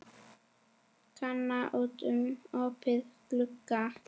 Kana út um opinn glugga.